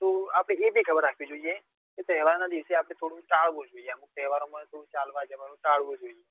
તો આપડે એ બી ખબર રાખવી જોઈએ કે તહેવાર નાં દિવસ એઆપડે થોડું ટાળવું જોઈએ અમુક તહેવારો માં ચાલવા જવા નું ટાળવું જોઈએ